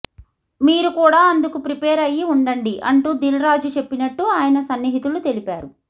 మీరు కూడా అందుకు ప్రిపేర్ అయ్యి ఉండండి అంటూ దిల్ రాజు చెప్పినట్టు ఆయన సన్నిహితులు తెలిపారు